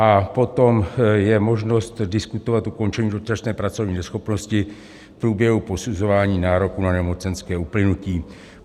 A potom je možnost diskutovat ukončení dočasné pracovní neschopnosti v průběhu posuzování nároku na nemocenskou uplynutím.